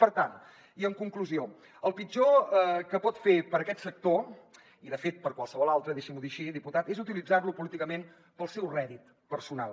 per tant i en conclusió el pitjor que pot fer per aquest sector i de fet per qualsevol altre deixi m’ho dir així diputat és utilitzar lo políticament pel seu rèdit personal